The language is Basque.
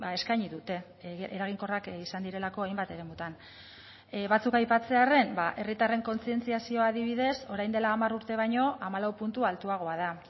eskaini dute eraginkorrak izan direlako hainbat eremutan batzuk aipatzearren herritarren kontzientziazioa adibidez orain dela hamar urte baino hamalau puntu altuagoa da